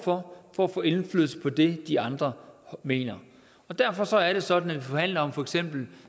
for for at få indflydelse på det de andre mener derfor er det sådan at vi forhandler om for eksempel